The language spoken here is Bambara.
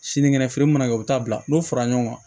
Sinikɛnɛ feere mana kɛ u bɛ taa bila n'o fara ɲɔgɔn kan